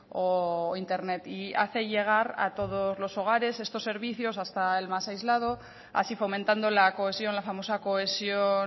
o internet y hace llegar a todos los hogares estos servicios hasta al más aislado así fomentando la cohesión la famosa cohesión